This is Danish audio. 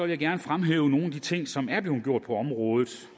jeg gerne fremhæve nogle af de ting som er blevet gjort på området